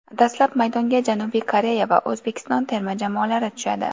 Dastlab maydonga Janubiy Koreya va O‘zbekiston terma jamoalari tushadi.